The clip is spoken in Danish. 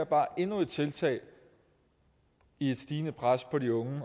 bare endnu et tiltag i et stigende pres på de unge